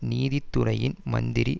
நீதி துறையின் மந்திரி